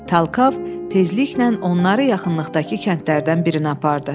Talkov tezliklə onları yaxınlıqdakı kəndlərdən birinə apardı.